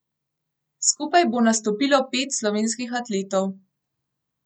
Skupaj bo nastopilo pet slovenskih atletov.